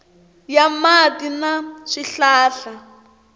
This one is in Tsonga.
ya ta mati na swihlahla